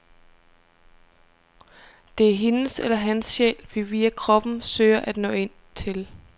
Det er hendes eller hans sjæl, vi via kroppen søger at nå ind til.